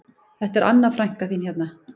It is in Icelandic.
Þetta er Anna frænka þín hérna